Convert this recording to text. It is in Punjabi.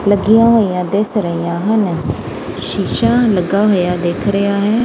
ਲੱਗੀਆਂ ਹੋਈਆਂ ਦਿੱਸ ਰਹੀਆਂ ਹਨ ਸ਼ੀਸ਼ਾ ਲੱਗਾ ਹੋਇਆ ਦਿੱਖ ਰਿਹਾ ਹੈ।